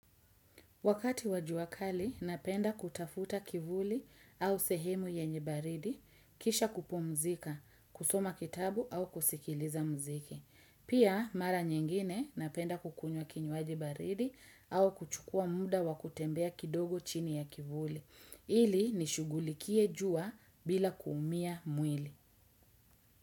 Wakati wa jua kali, napenda kutafuta kivuli au sehemu yenye baridi, kisha kupumzika, kusoma kitabu au kusikiliza mziki. Pia, mara nyingine napenda kukunywa kinywaji baridi au kuchukua muda wa kutembea kidogo chini ya kivuli. Ili nishugulikie jua bila kuumia mwili.